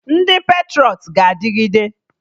Ndị patrọịt ga-adịgide